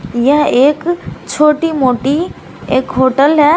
यह एक छोटी मोटी एक होटल है।